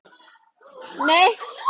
Nú skilja leiðir, elsku amma.